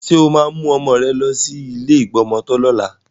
Ṣé o máa mú ọmọ rẹ lọ sí ilé ìgbọmọtọ́ lọ́la?